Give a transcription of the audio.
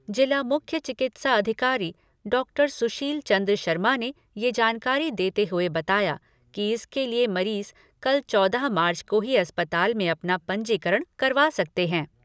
जिला मुख्य चिकित्सा अधिकारी डॉक्टर सुशील चन्द्र शर्मा ने ये जानकारी देते हुए बताया कि इसके लिए मरीज कल चौदह मार्च को ही अस्पताल में अपना पंजीकरण करवा सकते हैं।